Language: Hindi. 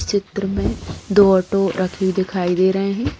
इस चित्र में दो ऑटो रखे दिखाई दे रहे हैं।